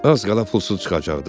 Az qala pulsuz çıxacaqdım.